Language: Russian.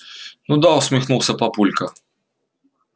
ну да усмехнулся папулька